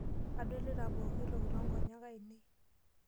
Adolita pooki toki too nkonyek ainei.